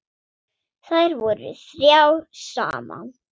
Þær voru þrjár saman.